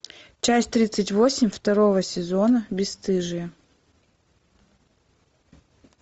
часть тридцать восемь второго сезона бесстыжие